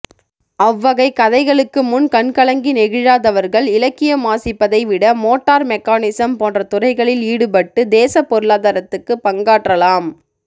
அவ்வகை கதைகளுக்கு முன் கண்கலங்கி நெகிழாதவர்கள் இலக்கியம் வாசிப்பதை விட மோட்டார் மெக்கானிசம் போன்ற துறைகளில் ஈடுபட்டு தேசப்பொருளாதாரத்துக்கு பங்காற்றலாம்